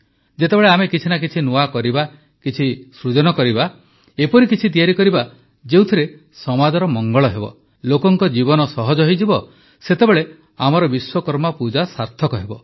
ଯେତେବେଳେ ଆମେ କିଛି ନା କିଛି ନୂଆ କରିବା କିଛି ସୃଜନ କରିବା ଏପରି କିଛି ତିଆରି କରିବା ଯେଉଁଥିରେ ସମାଜର ମଙ୍ଗଳ ହେବ ଲୋକଙ୍କ ଜୀବନ ସହଜ ହୋଇଯିବ ସେତେବେଳେ ଆମର ବିଶ୍ୱକର୍ମା ପୂଜା ସାର୍ଥକ ହେବ